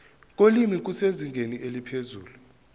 kolimi kusezingeni eliphezulu